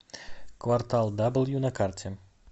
квартал даблю на карте